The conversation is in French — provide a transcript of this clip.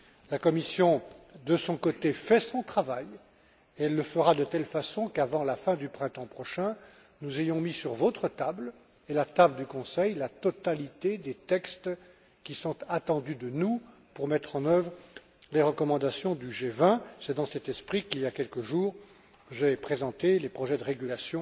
La Commission, de son côté, fait son travail et elle le fera de façon telle qu'avant la fin du printemps prochain, nous ayons mis sur votre table et la table du Conseil la totalité des textes qui sont attendus de nous pour mettre en œuvre les recommandations du G20. C'est dans cet esprit qu'il y a quelques jours, j'ai présenté les projets de règlement